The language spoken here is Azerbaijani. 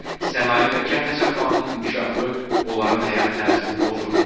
Sənaye və kənd təsərrüfatının inkişafı onların həyat tərzini pozur.